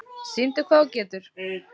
Sýndu hvað þú getur!